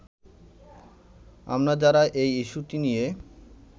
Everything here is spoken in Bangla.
আমরা যারা এই ইস্যুটি নিয়ে